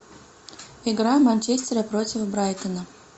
игра манчестера против брайтона